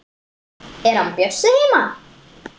Er hann Bjössi heima?